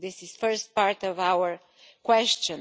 This is the first part of our question.